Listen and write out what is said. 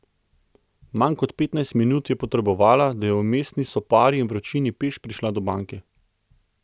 Manj kot petnajst minut je potrebovala, da je v mestni sopari in vročini peš prišla do banke.